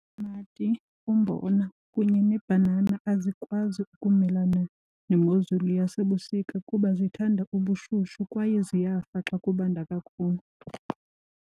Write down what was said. umbona kunye neebhanana azikwazi ukumelana nemozulu yasebusika kuba zithanda ubushushu kwaye ziyafa xa kubanda kakhulu.